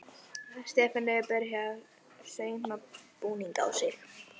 Stefanía er byrjuð að sauma búning á þig.